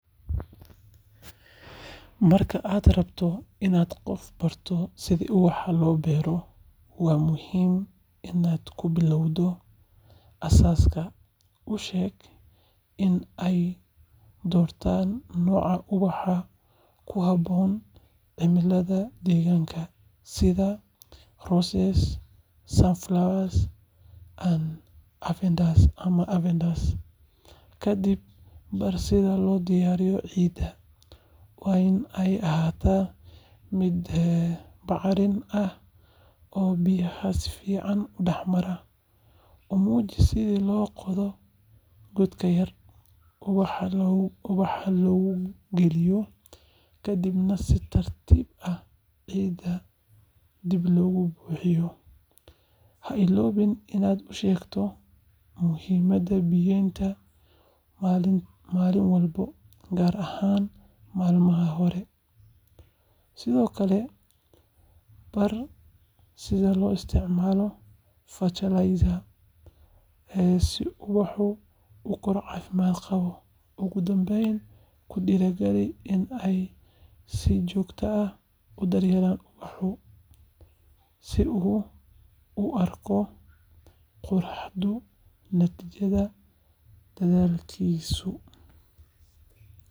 Marka aad rabto inaad qof barato sida ubax loo beero, waa muhiim in aad ku bilowdo aasaaska. U sheeg in ay doortaan nooca ubaxa ku habboon cimilada deegaanka, sida roses, sunflowers, ama lavender. Kadib, bar sida loo diyaariyo ciidda—waa in ay ahaataa mid bacrin ah oo biyaha si fiican u dhex mara. U muuji sida loo qodo god yar, ubaxa loogu geliyo, kadibna si tartiib ah ciidda dib loogu buuxiyo. Ha illoobin inaad u sheegto muhiimadda biyeynta maalin walba, gaar ahaan maalmaha hore. Sidoo kale, bar sida loo isticmaalo fertilizer si ubaxu u koro caafimaad qaba. Ugu dambayn, ku dhiirrigeli in uu si joogto ah u daryeelo ubaxa, si uu u arko quruxda natiijada dadaalkiisa.